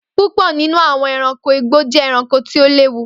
Púpò nínú àwọn ẹranko igbó jé ẹranko tí o léwu